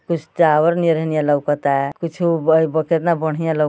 कुछ टॉवर नियर हेनिया लउकता। कुछु केतना बढ़िया लउक --